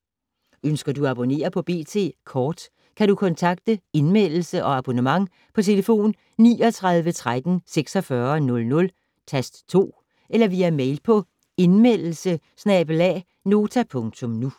Ønsker du at abonnere på B.T. Kort, kan du kontakte Indmeldelse og abonnement på 39 13 46 00, tast 2, eller via mail på indmeldelse@nota.nu